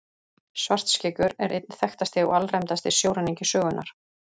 Svartskeggur er einn þekktasti og alræmdasti sjóræningi sögunnar.